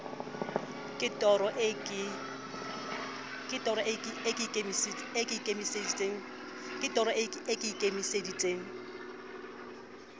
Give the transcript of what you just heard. ke toro eo ke ikemiseditseng